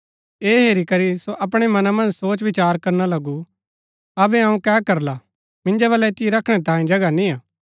ऐह हेरी करी सो अपणै मना मन्ज सोचविचार करना लगु अबै अऊँ कै करला मिन्जो वलै ऐतिओ रखणै तांयें जगह निआ